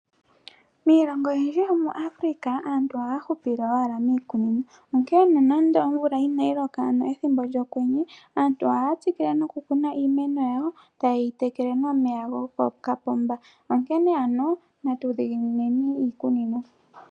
Iilongo oyindji yo muAfrica aantu ohaya hupile owala mii kunino, onkene no nando omvula inayi loka ano ethimbo lyo kwenye, aantu ohaya tsikile noku kuna iimeno yawo, etaya yi tekele no meya go ko kapomba, onkene ano natu dhiginineni iikunino.